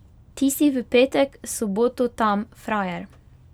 Ti si v petek, soboto tam frajer.